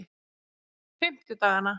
fimmtudagana